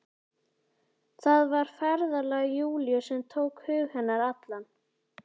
Það var ferðalag Júlíu sem tók hug hennar allan.